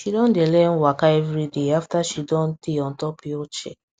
she don dey learn waka everyday after she don tey on top wheelchair